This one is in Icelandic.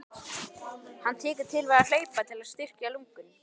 Hann tekur til við að hlaupa til að styrkja lungun.